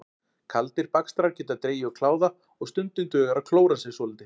Kaldir bakstrar geta dregið úr kláða og stundum dugar að klóra sér svolítið.